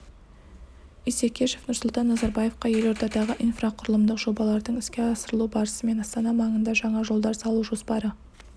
исекешев нұрсұлтан назарбаевқа елордадағы инфрақұрылымдық жобалардың іске асырылу барысы мен астана маңында жаңа жолдар салу жоспары